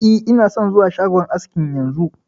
E, ina son zuwa shagon askin yanzu